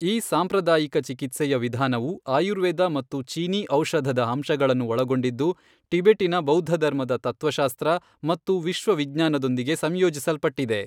ಈ ಸಾಂಪ್ರದಾಯಿಕ ಚಿಕಿತ್ಸೆಯ ವಿಧಾನವು ಆಯುರ್ವೇದ ಮತ್ತು ಚೀನೀ ಔಷಧದ ಅಂಶಗಳನ್ನು ಒಳಗೊಂಡಿದ್ದು, ಟಿಬೆಟಿನ ಬೌದ್ಧಧರ್ಮದ ತತ್ವಶಾಸ್ತ್ರ ಮತ್ತು ವಿಶ್ವವಿಜ್ಞಾನದೊಂದಿಗೆ ಸಂಯೋಜಿಸಲ್ಪಟ್ಟಿದೆ.